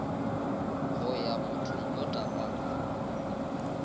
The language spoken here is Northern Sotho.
go ya mothong o takatso